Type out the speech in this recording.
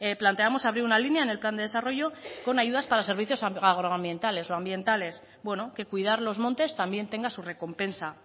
planteamos abrir una línea en el plan de desarrollo con ayudas para servicios agroambientales o ambientales bueno que cuidar los montes también tenga su recompensa